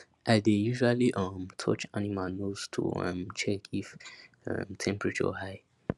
i dey usually um touch animal nose to um check if um temperature high